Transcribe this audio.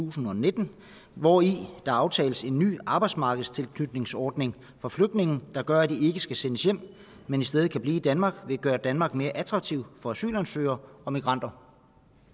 og nitten hvori der aftales en ny arbejdsmarkedstilknytningsordning for flygtninge der gør at de skal sendes hjem men i stedet kan blive i danmark vil gøre danmark mere attraktiv for asylansøgere og migranter